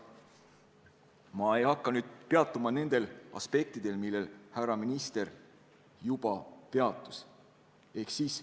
" Ma ei hakka peatuma nendel aspektidel, millest härra minister juba rääkis.